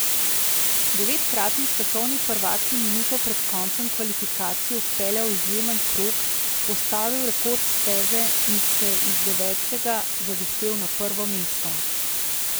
Devetkratni svetovni prvak je minuto pred koncem kvalifikacij odpeljal izjemen krog, postavil rekord steze in se iz devetega zavihtel na prvo mesto.